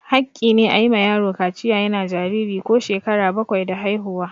Haƙƙi ne a yi ma yaro kaciya yana jariri ko shekara bakwai da haihuwa.